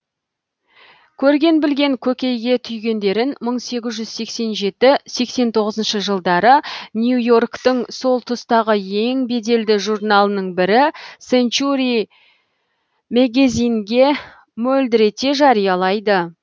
көрген білген көкейге түйгендерін мың сегіз жүз сексен жеті сексен тоғызыншы жылдары нью и орктың сол тұстағы ең беделді журналының бірі сэнчури мэгэзинге мөлдірете жариялайды